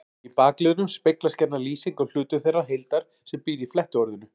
Í bakliðnum speglast gjarna lýsing á hlutum þeirrar heildar sem býr í flettiorðinu.